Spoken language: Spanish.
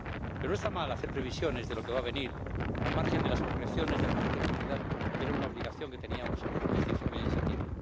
Pero no está mal hacer previsiones de lo que va a venir, al margen de las concreciones del paquete de movilidad, que era una obligación que teníamos en este informe de propia iniciativa.